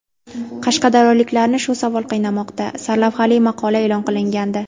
Qashqadaryoliklarni shu savol qiynamoqda” sarlavhali maqola e’lon qilingandi .